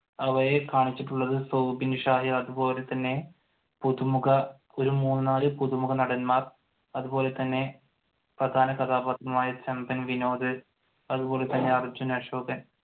അവയെ കാണിച്ചിട്ടുള്ളത് സൗബിൻ അതുപോലെതന്നെ പുതുമുഖ ഒരു മൂന്ന് നാല് പുതുമുഖ നടന്മാർ അതുപോലെതന്നെ പ്രധാനകഥാപാത്രമായ ചെമ്പൻ വിനോദ് അതുപോലെ തന്നെ അർജുൻ അശോകൻ